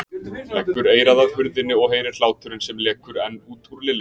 Leggur eyrað að hurðinni og heyrir hláturinn sem lekur enn út úr Lilla.